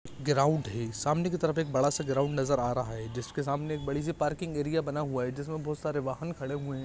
ground है सामने कि तरफ एक बड़ा सा ग्राउंड नजर आ रहा है जिसके सामने एक बड़ी सी पार्किंग एरिया बना हुआ है जिसमे बहुत सारे बाहन खड़े हुए है